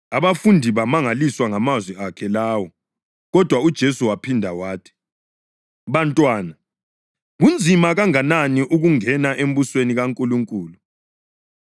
Abafundi bamangaliswa ngamazwi akhe lawo. Kodwa uJesu waphinda wathi, “Bantwana, kunzima kanganani ukungena embusweni kaNkulunkulu!